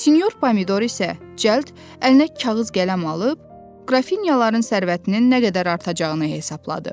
Sinyor Pomidor isə cəld əlinə kağız qələm alıb, qrafinyaların sərvətinin nə qədər artacağını hesabladı.